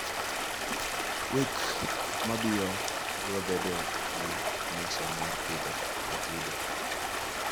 wik mabio brobedo gi nyiso mar pidho atudo